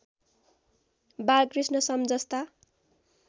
बालकृष्ण सम जस्ता